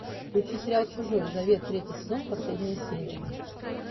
включи сериал чужой завет третий сезон последняя серия